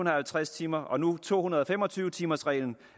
og halvtreds timers og nu to hundrede og fem og tyve timers reglen